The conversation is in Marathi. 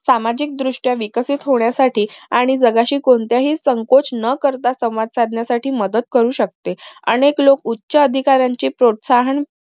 सामाजिक दृष्ट्या विकसित होण्यासाठी आणि जगाशी कोणताही संकोच न करता संवाद साधण्यासाठी मदत करू शकते अनेक लोक उच्च अधिकाऱ्यांचे प्रोत्साहन